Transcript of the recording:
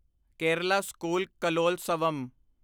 Kerala school Kalolsavam